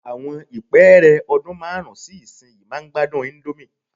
Àwọn ìpẹ́ẹ́rẹ́ ọdún márùn-ún sí ìsinyìí máa gbádùn íńdómì.